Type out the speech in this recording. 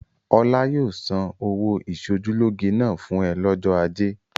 Ọlá yóò san ọ̀wọ́ ìṣojúlóge náà fún ẹ lọ́jọ́ ajé.